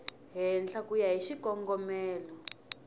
henhla ku ya hi xikongomelo